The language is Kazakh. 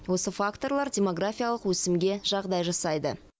осы факторлар демографиялық өсімге жағдай жасайды